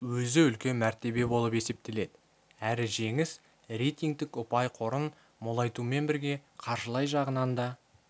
өзі үлкен мәртебе болып есептеледі әр жеңіс рейтингтік ұпай қорын молайтумен бірге қаржылай жағынан да